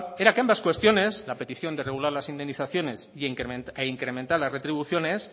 era que ambas cuestiones la petición de regular las indemnizaciones e incrementar las retribuciones